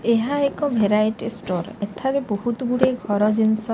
ଏହା ଏକ variety store ଏଠାରେ ବହୁତ ଗୁଡାଏ ଘର ଜିନିଷ--